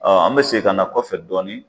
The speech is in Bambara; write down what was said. an bɛ segin ka na kɔfɛ dɔɔni.